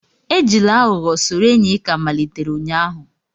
Ejila aghugho soro enyi ị ka malitere ụnyaahụ